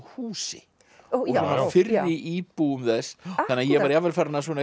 húsi og fyrri íbúum þess þannig að ég var jafnvel farinn að